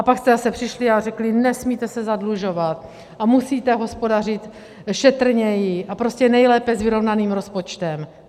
A pak jste zase přišli a řekli: nesmíte se zadlužovat a musíte hospodařit šetrněji a prostě nejlépe s vyrovnaným rozpočtem.